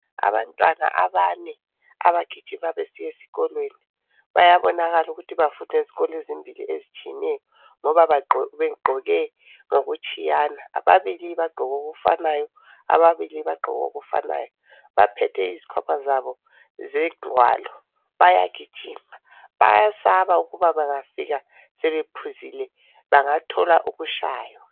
Abantwana abane abagijima besiya esikolweni bayabonakala ukuthi bafunda ezikolo ezimbili ezitshiyeneyo ngoba begqoke ngokutshiyana ababili bagqoke ngokufanayo lababili bagqoke ngokufanayo baphethe izikhwama zabo zengwalo bayagijima bayasaba ukuba bangafika sebephuzile bangathola ukutshaywa